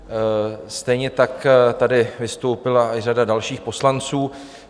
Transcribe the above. Stejně tak tady vystoupila i řada dalších poslanců.